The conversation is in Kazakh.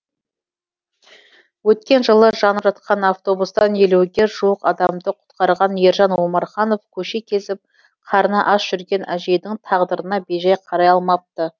өткен жылы жанып жатқан автобустан елуге жуық адамды құтқарған ержан омарханов көше кезіп қарны аш жүрген әжейдің тағдырына бейжай қарай алмапты